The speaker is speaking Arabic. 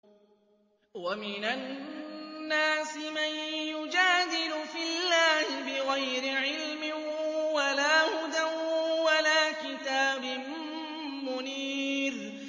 وَمِنَ النَّاسِ مَن يُجَادِلُ فِي اللَّهِ بِغَيْرِ عِلْمٍ وَلَا هُدًى وَلَا كِتَابٍ مُّنِيرٍ